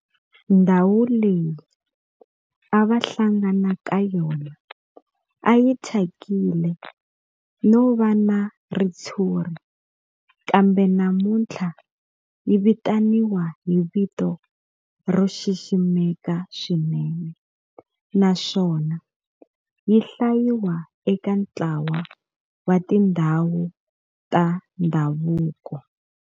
Ndhawu leyi a va hlangana ka yona a yi thyakile no va na ritshuri kambe namuntlha yi vitaniwa hi vito ro xiximeka swinene naswona yi hlayiwa eka ntlawa wa tindhawu ta ndhavuko.